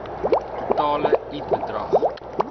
totale i bedrag